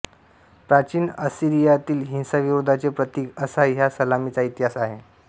प्राचीन असिरियातील हिंसाविरोधाचे प्रतीक असा ह्या सलामीचा इतिहास आहे